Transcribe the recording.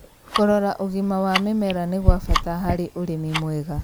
Kũrora ũgima wa mĩmera nĩ gwa bata harĩ ũrĩmi mwega.